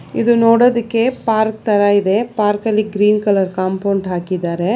ಇದು ನೋಡೋದಿಕ್ಕೆ ಪಾರ್ಕ್ ತರ ಇದೆ ಪಾರ್ಕ ಅಲ್ಲಿ ಗ್ರೀನ್ ಕಲರ್ ಕಾಂಪೌಂಡ್ ಹಾಕಿದ್ದಾರೆ.